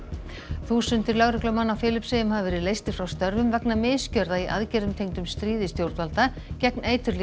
þúsundir lögreglumanna á Filippseyjum hafa verið leystir frá störfum vegna misgjörða í aðgerðum tengdum stríði stjórnvalda gegn